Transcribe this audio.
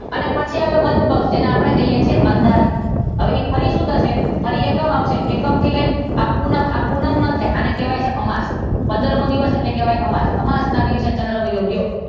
અને પછી આવે વદ પક્ષ જેને આપડે કહીએ છીયે અંધારિયું હવે ફરી શું થશે? ફરી એકમ આવશે એકમ થી લઈ ને આ પૂનમ આ પૂનમ નો છે આને કહેવાય છે અમાસ પંદરમો દિવસ એટલે કહેવાય છે અમાસ અમાસ ના દિવસે ચંદ્ર વયો ગયો.